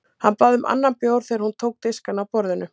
Hann bað um annan bjór þegar hún tók diskana af borðinu.